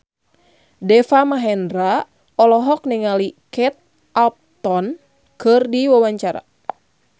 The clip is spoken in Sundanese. Deva Mahendra olohok ningali Kate Upton keur diwawancara